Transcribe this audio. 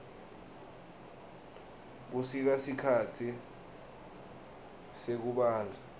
busika sikhatsi sekubandza